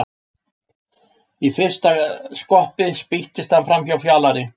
Í fyrsta skoppi spýttist hann framhjá Fjalari.